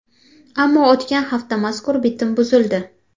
Ammo o‘tgan hafta mazkur bitim buzildi .